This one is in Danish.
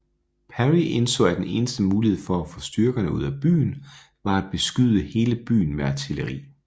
Perry indså at den eneste mulighed for at få styrkerne ud af byen var at beskyde hele byen med artilleri